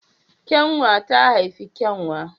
Kyanwa ta haifi kyanwa